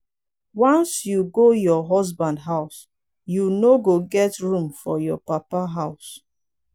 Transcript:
once you go your husband house you no go get room for your papa house.